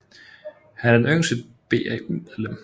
Han er det yngste BAU medlem